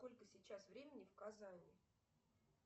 сколько сейчас времени в казани